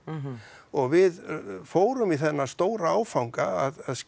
og við fórum í þennan stóra áfanga að